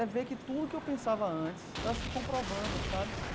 É ver que tudo que eu pensava antes tá se comprovando, sabe?